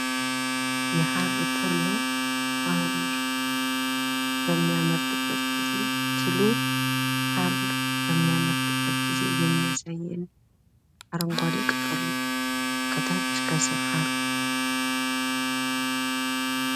የሃር ትል ነው ። ሃር በሚያመርትበት ጊዜ ትሉ ሃር በሚያመርትበት ጊዜ የሚያሳየን አረንጓዴ ቅጠል ነው። ከታች ከስር ሃር።